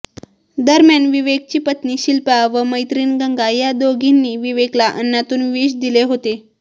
दरम्यान विवेकची पत्नी शिल्पा व मैत्रिण गंगा या दोघींनी विवेकला अन्नातून विष दिले होते